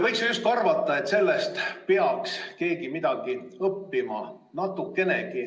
Võiks arvata, et sellest peaks keegi natukenegi midagi õppima.